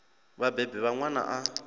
vha vhabebi vha ṅwana a